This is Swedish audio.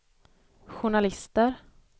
journalister